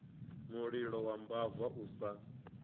mulilo wa mbava u sa